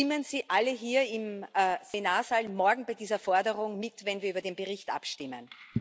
Stimmen Sie alle hier im Plenarsaal morgen bei dieser Forderung mit, wenn wir über den Bericht abstimmen!